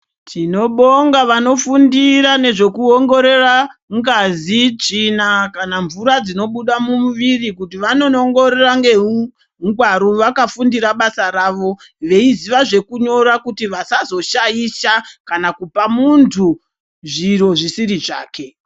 Tinobonga vanofundira nezvekuongorora ngazi, tsvina kana mvura dzinobuda mumuviri kuti vanonoongorora neungwaru vakafundira basa ravo. Veiziya zvekunyora kuti vasazoshaisha kana kupa muntu zviro zvisiri zvake.